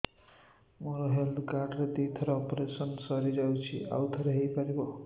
ମୋର health card ରେ ଦୁଇ ଥର ଅପେରସନ ସାରି ଯାଇଛି ଆଉ ଥର ହେଇପାରିବ